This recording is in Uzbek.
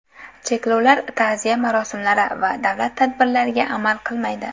Cheklovlar ta’ziya marosimlari va davlat tadbirlariga amal qilmaydi.